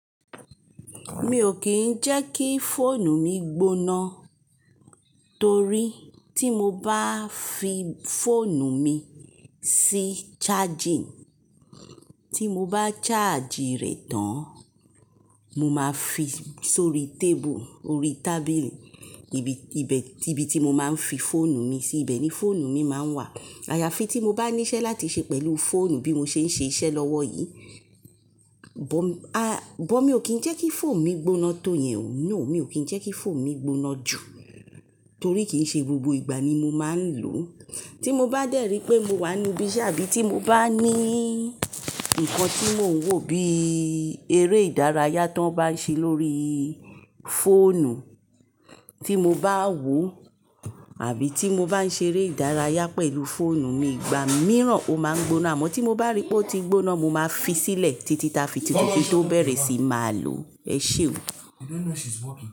Mi ò kín ń jẹ́ kí fóònù mi gbóná, torí tí mo bá fi fóònù mi sí charging, tí mo bá charge rẹ̀ tán, mo máa fi sori tébùl, orí tábìlì, ibi, ibi tí mo máa ń fi fóònù mi sí, ibẹ̀ ni fóònù mi máa ń wà. Àyàfi tí mo bá níṣẹ́ láti ṣe pẹ̀lú fóònù bí mo ṣe ń ṣe iṣẹ́ lọ́wọ́ yìí, bọ̀, a, bọ̀ mi ò kín ń jẹ́ kí fóònù mi gbóná tó yẹn o, no, mi ò kín ń jẹ́ kí fóònù mi gbóná jù, torí kì í ṣe gbogbo ìgbà ni mo máa ń lò ó. Tí mo bá dẹ̀ ri pé mo wà níbí ṣáàbì tí mo bá ní nǹkan tí mò ń wò bí eré ìdárayá tó bá ń ṣe lórí fóònù tí mo bá wò àbí tí mo bá ń ṣeré ìdárayá pẹ̀lú fóònù mi, ìgbà mìíràn ó máa ń gbóná. Àmọ́ tí mo bá rí pé ó ti gbóná, mo máa fi sílẹ̀ títí ta fi títí tó bẹ̀rẹ̀ sí máa lò ó. Ẹ ṣé o.